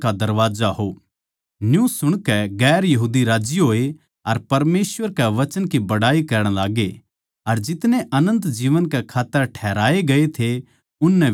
न्यू सुणकै दुसरी जात्तां आळे राज्जी होए अर परमेसवर कै वचन की बड़ाई करण लाग्गे अर जितने अनन्त जीवन कै खात्तर ठहराए गये थे उननै बिश्वास करया